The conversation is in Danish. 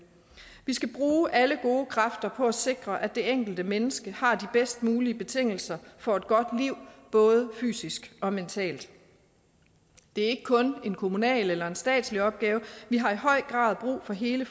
vi skal bruge alle gode kræfter på at sikre at det enkelte menneske har de bedst mulige betingelser for et godt liv både fysisk og mentalt det er ikke kun en kommunal eller en statslig opgave vi har i høj grad brug for hele